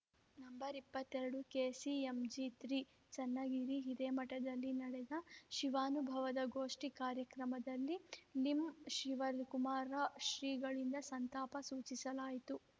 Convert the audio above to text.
number ಇಪ್ಪತ್ತೆರಡು KCMG three Channagiri ಹಿರೇಮಠದಲ್ಲಿ ನಡೆದ ಶಿವಾನುಭವ ಗೋಷ್ಠಿ ಕಾರ್ಯಕ್ರಮದಲ್ಲಿ ಲಿಂ ಶಿವಕುಮಾರ ಶ್ರೀಗಳಿಂದ ಸಂತಾಪ ಸೂಚಿಸಲಾಯಿತು